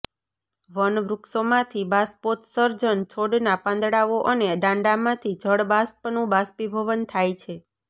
one વૃક્ષોમાંથી બાષ્પોત્સર્જન છોડના પાંદડાઓ અને દાંડામાંથી જળ બાષ્પનું બાષ્પીભવન થાય છે